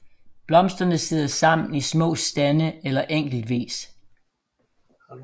Blomsterne sidder sammen i små stande eller enkeltvis